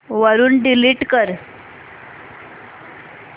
वरून डिलीट कर